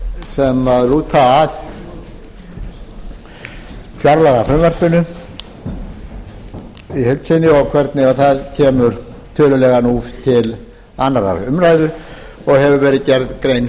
fjárlagafrumvarpinu í heild sinni og hvernig það kemur tölulega nú til annarrar umræðu og hefur verið gerð grein